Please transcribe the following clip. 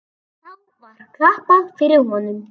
Þá var klappað fyrir honum.